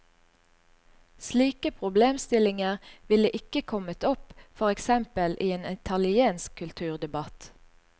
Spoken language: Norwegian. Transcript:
Slike problemstillinger ville ikke kommet opp for eksempel i en italiensk kulturdebatt.